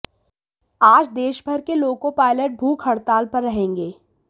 आज देशभर के लोको पायलट भूख हड़ताल पर रहेंगे